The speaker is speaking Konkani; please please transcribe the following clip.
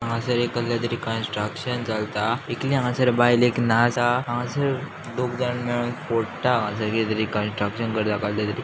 हांगासर एक कसलेतरी कन्स्ट्रक्शन चलता ऐकली हांगासर एक बायल एक नाच आहा दोगजाण मेळोन फोडटा हांगासर किदेतरी कन्स्ट्रक्शन करता कसलेतरी.